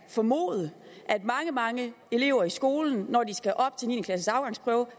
formode at mange mange elever i skolen når de skal op til niende klasses afgangsprøve